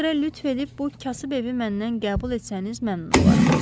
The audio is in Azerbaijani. Ona görə lütf edib bu kasıb evi məndən qəbul etsəniz məmnun olaram.